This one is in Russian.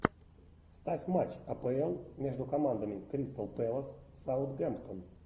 ставь матч апл между командами кристал пэлас саутгемптон